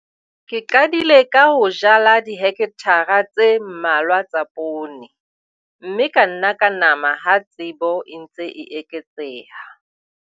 Ke qadile ka ho jala dihekthara tse mmalwa tsa poone, mme ka nna ka nama ha tsebo e ntse e eketseha.